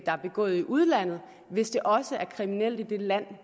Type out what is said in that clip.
der er begået i udlandet hvis det også er kriminelt i det land